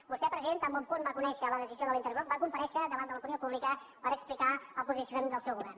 vostè president tan bon punt va conèixer la decisió de l’intergrup va comparèixer davant de l’opinió pú·blica per explicar el posicionament del seu govern